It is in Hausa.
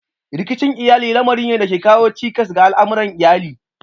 Rikicin iyali lamari ne da ke kawo cikas ga al'amuran iyali.